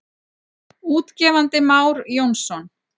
Útgefandi Már Jónsson.